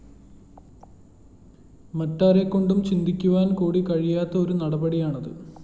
മറ്റാരെക്കൊണ്ടും ചിന്തിക്കുവാന്‍കൂടി കഴിയാത്ത ഒരു നടപടിയാണത്